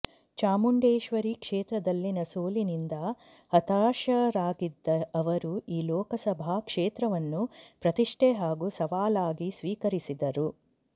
ಚಾಮುಂಡೇಶ್ವರಿ ಕ್ಷೇತ್ರದಲ್ಲಿನ ಸೋಲಿನಿಂದ ಹತಾಶರಾಗಿದ್ದ ಅವರು ಈ ಲೋಕಸಭಾ ಕ್ಷೇತ್ರವನ್ನು ಪ್ರತಿಷ್ಠೆ ಹಾಗೂ ಸವಾಲಾಗಿ ಸ್ವೀಕರಿಸಿದ್ದರು